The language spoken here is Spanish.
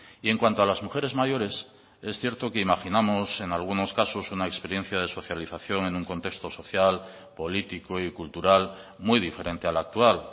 y en cuanto a las mujeres mayores es cierto que imaginamos en algunos casos una experiencia de socialización en un contexto social político y cultural muy diferente al actual